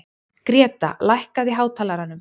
Greta, lækkaðu í hátalaranum.